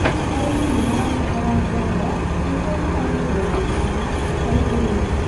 Arĩmi nĩ mabataraga ngombo nĩguo mahote kũonjorithia harĩ ũrĩmi.